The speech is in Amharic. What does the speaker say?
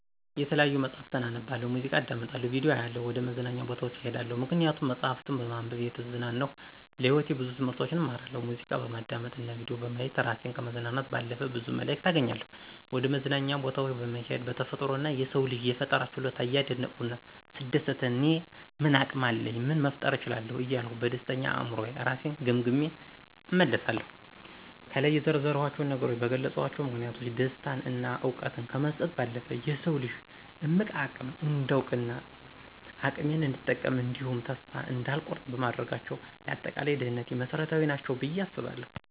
የተለያዩ መጽሀፍትን አነባለሁ፣ ሙዚቃ አዳምጣለሁ፣ ቪዲዮ አያለሁ፣ ወደ መዝናኛ ቦታዎች እሄዳለሁ። ምክንያቱም መጽሀፍትን በማንበብ እየተዝናናሁ ለህይወቴ ብዙ ትምህርቶችን እማራለሁ፣ ሙዚቃ በማዳመጥ እና ቪዲዮ በማየት እራሴን ከማዝናናት ባለፈ ብዙ መልክት አገኛለሁ፣ ወደመዝናኛ ቦታወች በመሄድ በተፈጥሮ እና የሰውን ልጅ የፈጠራ ችሎታ እያደነኩ ስደሰትና እኔ ምን አቅም አለኝ ምን መፍጠር እችላለሁ እያልኩ በደስተኛ አእምሮየ እራሴን ገምግሜ እመለሳለሁ። ከላይ የዘረዘርኳቸው ነገሮች በገለጽኳቸው ምክንያቶች ደስታን እና እውቀትን ከመስጠት ባለፈ የሰውን ልጅ እምቅ አቅም እንዳውቅ እና አቅሜን እንድጠቀም እንዲሁም ተስፋ እንዳልቆርጥ በማድረጋቸው ለአጠቃላይ ደህንነቴ መሰረታዊ ናቸው ብየ አስባለሁ።